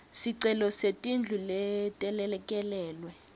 sicelo setindlu letelekelelwe